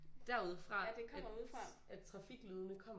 Derude fra at trafiklydene kommer